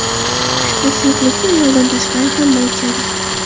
Ushbu suyuqlikni ayoldan tashqari hamma ichadi.